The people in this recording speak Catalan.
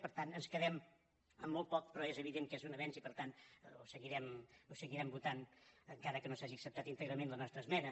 per tant ens quedem amb molt poc però és evident que és un avenç i per tant ho seguirem votant encara que no s’hagi acceptat íntegrament la nostra esmena